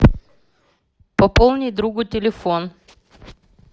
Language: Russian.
пополнить другу телефон